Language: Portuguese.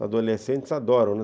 Os adolescentes adoram, né?